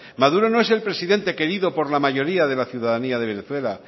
maduro no es el presidente querido por la mayoría de la ciudadanía de venezuela